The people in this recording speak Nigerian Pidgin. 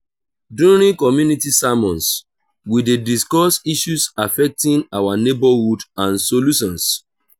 during community sermons we dey discuss issues affecting our neighborhood and solutions.